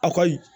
A ka ɲi